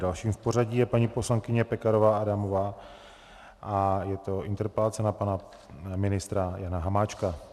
Další v pořadí je paní poslankyně Pekarová Adamová a je to interpelace na pana ministra Jana Hamáčka.